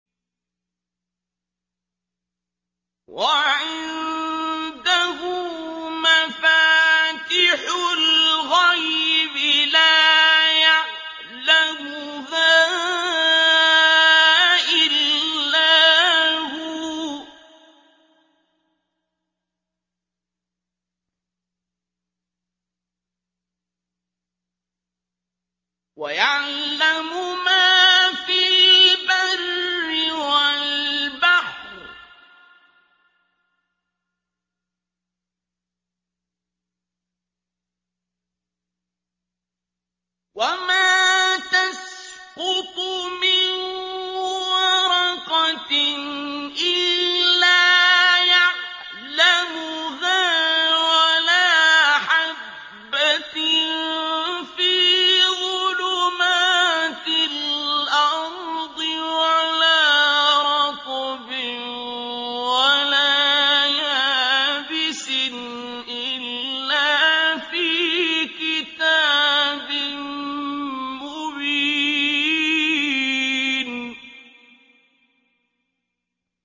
۞ وَعِندَهُ مَفَاتِحُ الْغَيْبِ لَا يَعْلَمُهَا إِلَّا هُوَ ۚ وَيَعْلَمُ مَا فِي الْبَرِّ وَالْبَحْرِ ۚ وَمَا تَسْقُطُ مِن وَرَقَةٍ إِلَّا يَعْلَمُهَا وَلَا حَبَّةٍ فِي ظُلُمَاتِ الْأَرْضِ وَلَا رَطْبٍ وَلَا يَابِسٍ إِلَّا فِي كِتَابٍ مُّبِينٍ